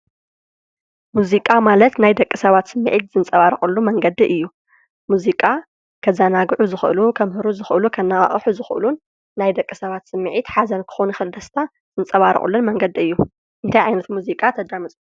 ሙዚቃ ማለት ናይ ደቂ ሰባት ስሚዕት ዝንፀባርቕሉ መንገዲ እዩ፡፡ ሙዚቃ ከዘናግዑ ዝኽእሉ፣ ከምህሩ ዝኽእሉ፣ ከነቓቕሑ ዝኽእሉን ናይ ደቂ ሰባት ስሚዕት ሓዘን ክኸውን ይኽእል ደስታ ዝንፀባርቑሉን መንገዲ እዩ፡፡ እንታይ ዓይነት ሙዚቃ ተዳምፁ?